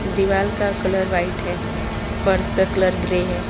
दीवाल का colour white है फर्श का कलर ग्रे है।